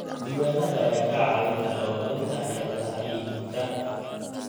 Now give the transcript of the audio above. Diiwaanada ayaa kaa caawin kara horumarinta xeeladaha iibka.